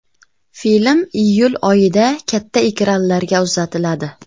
Film iyul oyida katta ekranlarga uzatiladi.